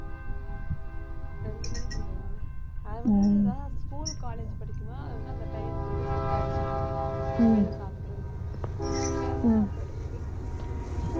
ரெண்டு மணிக்கு உள்ளயா அது வந்து school college படிக்கும்போது அது வந்து அந்த time க்கு வந்து set ஆச்சு அப்பயெல்லாம் சாப்பிடுறதுக்கு